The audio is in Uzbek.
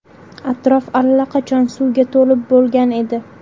Atrof allaqachon suvga to‘lib bo‘lgan edi.